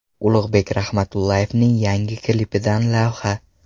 Ulug‘bek Rahmatullayevning yangi klipidan lavha.